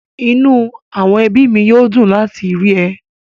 Inú àwọn ẹbí mi yóò dùn láti rí ẹ